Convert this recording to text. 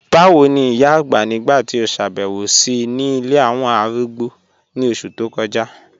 Bàwo ni ìyà àgbá nígbà tí o ṣábẹ̀wò sí ńí ilẹ̀ awọn arúgbó ni oṣù tó kọja?